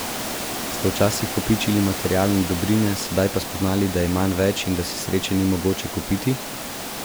Ste včasih kopičili materialne dobrine, sedaj pa spoznali, da je manj več in da si sreče ni mogoče kupiti?